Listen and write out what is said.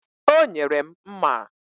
O nyere m mma.